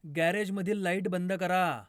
गॅरेजमधील light बंद करा